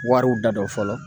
Wariw da don fɔlɔ